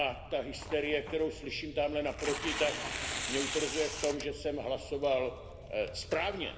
Ta hysterie, kterou slyším tamhle naproti, tak mě utvrzuje v tom, že jsem hlasoval správně.